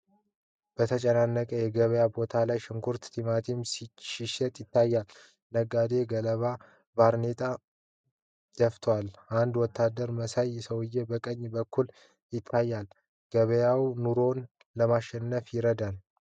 በተጨናነቀ የገበያ ቦታ ላይ ሽንኩርትና ቲማቲም ሲሸጥ ያሳያል። ነጋዴዎች ገለባ ባርኔጣ (hats) ደፍተዋል። አንድ ወታደር መሳይ ሰውዬ በቀኝ በኩል ይታያል። ገበያው ኑሮን ለማሸነፍ ይረዳል?